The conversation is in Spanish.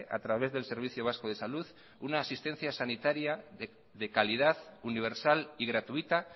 a través del servicio vasco de salud una asistencia sanitaria de calidad universal y gratuita